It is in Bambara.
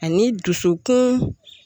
Ani dusukun